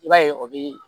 I b'a ye o bɛ